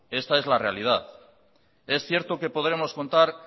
esta es la realidad es cierto que podremos contar